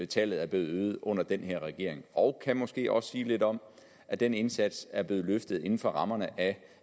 tallet er blevet øget under den her regering og han kan måske også sige lidt om at den indsats er blevet løftet inden for rammerne af